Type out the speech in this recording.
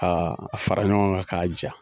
Aa a fara ɲɔgɔn kan k'a ja